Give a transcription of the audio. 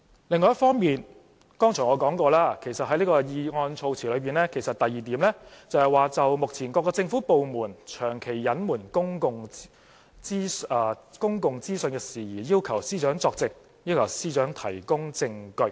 另一方面，正如我剛才提及，其實這項議案措辭的第二點是要求司長就"目前各政府部門長期隱瞞公共資訊事宜，作證及提供證據"。